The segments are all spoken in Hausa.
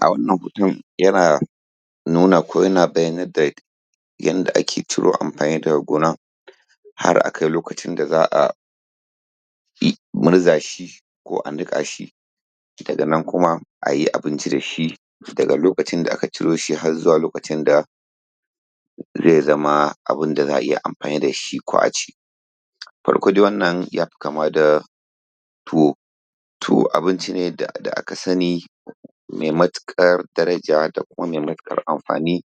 A wannan hoton yana nuna ko yana bayanai da yanda ake ciro amfani da ga gona har akai lokacin da za'a gurza shi ko aniƙa shi daga nan kuma ayi abinci da shi daga lokacin da aka ciro shi, har zuwa lokacin da zai zama abun da za'a iya amfani dashi ko aci farko dai wannan yafi kama da tuwo tuwo abinci ne da aka sani mai mutukar daraja da kuma mai mutukar amfani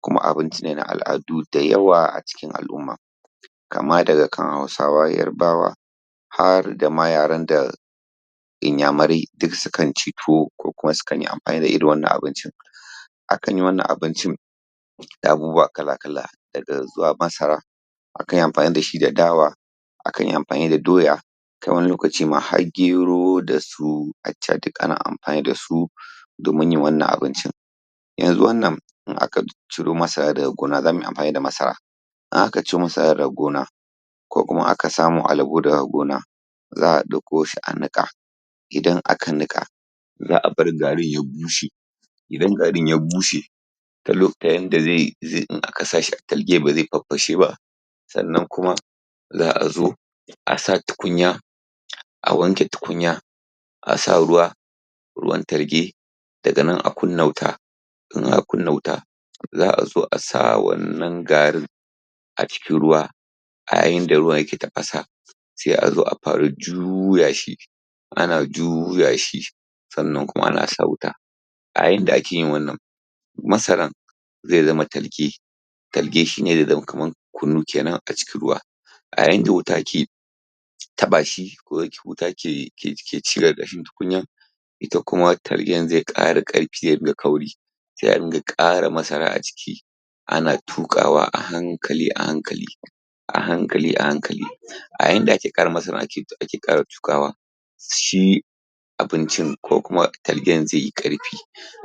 kuma abincine na al'adu dayawa acikin al'umma kamar daga kan Hausawa, Yarbawa har dama yaren da Inyamurai duk sukan ci tuwo kokuwa sukan yi amfani da irin wannan abincin akan yi wannan abincin da abubuwa kala-kala daga zuwa masara akan iya amfani dashi da dawa akanyi amfani da doya ko wani lokaci ma, har gero dasu aca duk ana amfani da su domin yin wannan abincin yanzu wannan, idan aka ciro masara daga gona, zamuyi amfani da masara idan aka ciro masara daga gona kokuma aka samu alibo daga gona za'a ɗauko shi a niƙa idan aka niƙa za'a bar garin ya bushe idan garin ya bushe dan lokutayen da zaiyi idan aka sa shi a targe bazai fafashe ba sannan kuma za azo a sa tukunya a wanke tukunya a sa ruwa ruwan targe daganan a kunna wuta kunna wuta za'a zo asa wannan garin a cikin ruwa a yayin da ruwan yake tafasa sai 'a zo a fara juya shi ana juya shi sannan kuma ana a inda ake yin wannan masaran zai zama targe targe shine zai zama kamar kunu kenan a cikin ruwa a yanda wuta ke taɓa shi ko wuta ke ci ƙarkashin tukunyar ita kuma targen zai ƙara ƙarfi da kauri sai a dinga ƙara masara a ciki ana tuƙawa a hankali a hankali a hankali a hankali a yanda ake ake ƙara tuƙawa shi abincin kokuma targen zai yi ƙarfi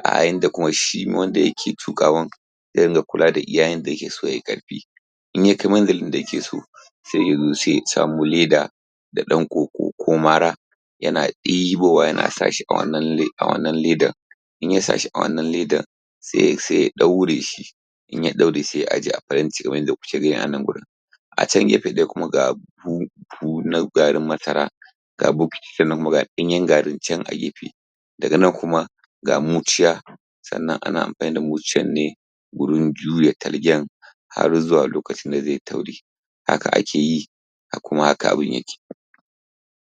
a yanda kuma shi wanda yake tuƙawan zai dinga kula da iya yanda yakeso yayi ƙarfi idan ya kai iya yanda kike so sai yazo sai ya samo leda da ɗan ƙoƙo ko mara yana ɗibowa yana sa shi a wannan ledar idan ya sahi a wannan ledar sai ya ɗaure shi idan ya ɗaure sai ya ajiye a faranti wanda anan wurin a can gefe dai kuma ga na garin masara sannan kuma ga ɗanyen garin can a gefe daga nan kuma ga muciya sannan ana amfani da muciyar ne wurin juya targen har zuwa lokacin da zai yi tauri haka ake yi kuma hakan abin yake